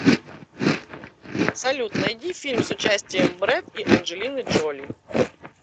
салют найди фильм с участием брэд и анджелины джоли